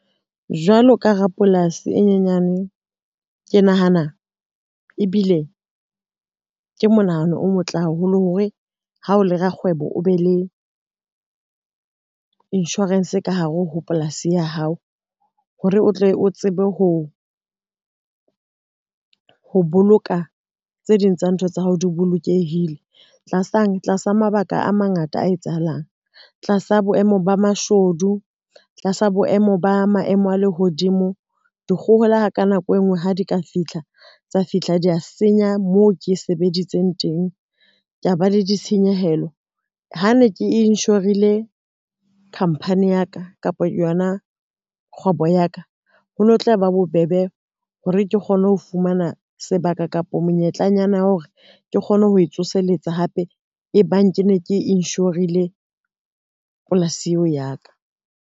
Jwalo ka rapolasi e nyenyane, ke nahana ebile, ke monahano o motle haholo hore ha o le rakgwebo o be le insurance ka hare ho polasi ya hao hore o tle o tsebe ho boloka tse ding tsa ntho tsa hao di bolokehile. Tlasang, tlasa mabaka a mangata a etsahalang tlasa boemo ba mashodu, tlasa boemo ba maemo a lehodimo, dikgohola ha ka nako e ngwe ha di ka fitlha tsa fihla tsa senya moo ke sebeditseng teng, ke a ba le ditshenyehelo. Ha ne ke inshorile khampani ya ka kapa yona kgwebo ya ka, ho no tla ba bobebe hore ke kgone ho fumana sebaka kapa monyetlanyana hore ke kgone ho e tsoseletsa hape e bang ke ne ke inshorile polasi eo ya ka.